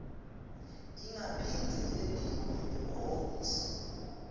ingaphindze yentiwa emahhovisi